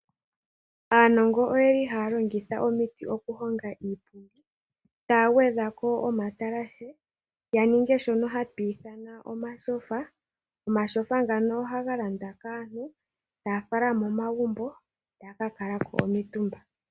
Aanongo oye li haa longitha omiti okuhonga iipundi, taa gwedha ko omatalashe, ya ninge shono hatu ithana omatyofa. Omatyofa ngano ohaga landwa kaantu, taa fala momagumbo taa ka kala ko omitumba.